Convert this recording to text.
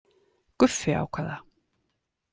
Guffi ákvað það.